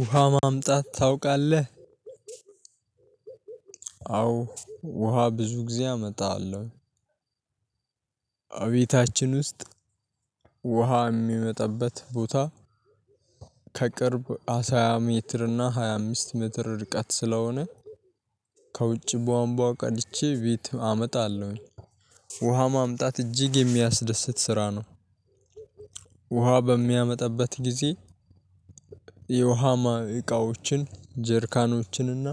ውሃ ማምጣት ታውቃለህ። አዎ። ውሃ ብዙ ጊዜ አመጣለሁ። እቤታችን ውስጥ ውሃ የሚመጣበት ቦታ። ከቅርብ አሳያ ሜትር እና ሃያ አምስት ሜትር ርቀት ስለሆነ። ከውጭ ቧምቧ ቀድቼ ቤት አመጣለሁኝ። ውሃ ማምጣት እጅግ የሚያስደስት ስራ ነው። ውሃ በሚያመጣበት ጊዜ የውሃማ እቃዎችን ጀሪካኖችን እና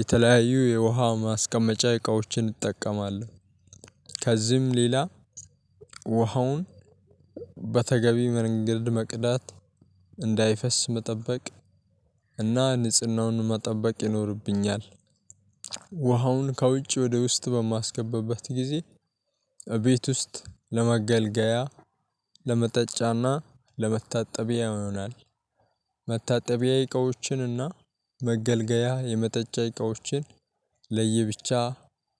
የተለያዩ የውሃ ማስቀመጫ እቃዎችን እንጠቀማለሁ። ከዚህም ሌላ ውሃውን በተገቢ መንገድ መቅዳት እንዳይፈስ መጠበቅ እና ንጽህናውን መጠበቅ ይኖርብኛል። ውሃውን ከውጭ ወደ ውስጥ በማስገባበት ጊዜ እቤት ውስጥ ለመገልገያ ለመጠጫና ለመታጠቢያ ይሆናል። መታጠቢያ እቃዎችንና መገልገያ የመጠጫ እቃዎችን ለየብቻ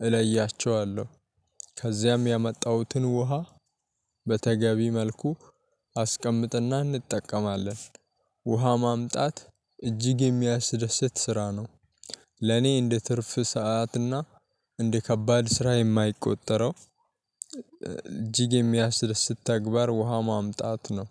እለያቸዋለሁ። ከዚያም ያመጣሁትን ውሃ በተገቢ መልኩ አስቀምጥና እንጠቀማለን። ውሃ ማምጣት እጅግ የሚያስደስት ስራ ነው። ለኔ እንደ ትርፍ ሰዓትና እንደ ከባድ ስራ የማይቆጠረው እጅግ የሚያስደስት ተግባር ውሃ ማምጣት ነው።